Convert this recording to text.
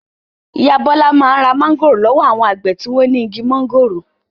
Ìyá Bọ́lá máa ń ra mángòrò lọ́wọ́ àwọn àgbẹ̀ tí wọ́n ní igi máńgòrò.